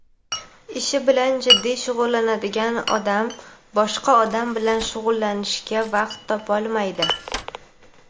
Ishi bilan jiddiy shug‘ullangan odam boshqa odam bilan shug‘ullanishga vaqt topolmaydi.